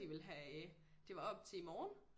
De ville have det var op til i morgen